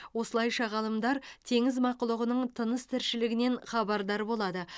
осылайша ғалымдар теңіз мақұлығының тыныс тіршілігінен хабардар болады